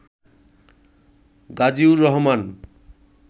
Gaziur Rahman